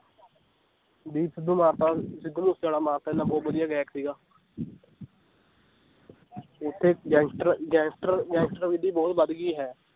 ਦੀਪ ਸਿੱਧੂ ਮਾਰਤਾ ਸਿੱਧੂ ਮੂਸੇਵਾਲਾ ਮਾਰਤਾ ਇੰਨਾ ਬਹੁਤ ਵਧੀਆ ਗਾਇਕ ਸੀਗਾ ਓਥੇ gangster, gangster gangster ਵਿਧੀ ਬਹੁਤ ਵਧ ਗਈ ਹੈ l